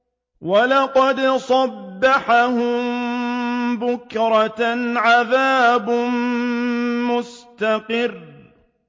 وَلَقَدْ صَبَّحَهُم بُكْرَةً عَذَابٌ مُّسْتَقِرٌّ